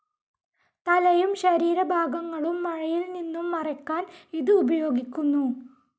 തലയും ശരീരഭാഗങ്ങളും മഴയിൽ നിന്നും മറയ്ക്കാൻ ഇത് ഉപയോഗിക്കുന്നു.